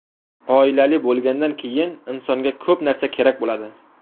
Oilali bo‘lgandan keyin insonga ko‘p narsa kerak bo‘ladi.